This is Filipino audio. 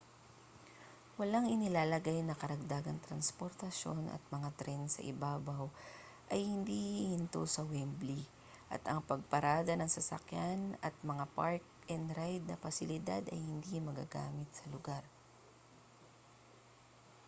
walang inilalagay na karagdagang transportasyon at ang mga tren sa ibabaw ay hindi hihinto sa wembley at ang pagparada ng sasakyan at mga park-and-ride na pasilidad ay hindi magagamit sa lugar